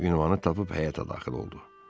Ünvanı tapıb həyətə daxil oldu.